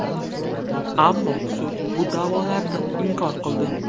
Ammo sud bu da’volarni inkor qildi.